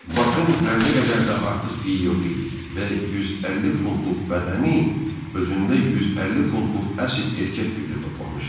Bakın zərrə qədər də artıq piyi yox idi və 150 funtluq bədəni özündə 150 funtluq əsl erkək gücü toplamışdı.